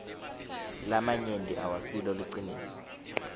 lamanyenti awasilo liciniso